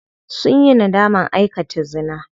Sunyi nadaman aikata zina.